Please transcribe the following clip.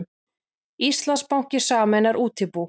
Íslandsbanki sameinar útibú